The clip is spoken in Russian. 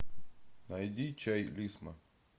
найди чай лисма